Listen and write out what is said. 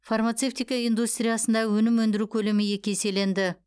фармацевтика индустриясында өнім өндіру көлемі екі еселенді